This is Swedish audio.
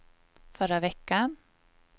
förra veckan